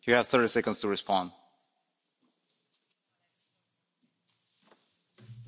Monsieur le Président, Chers collègues, moi, je suis élu en France pour défendre les intérêts des Français.